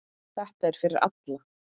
Þetta er fyrir alla.